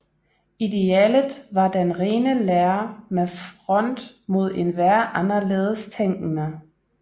Idealet var den rene lære med front mod enhver anderledes tænkende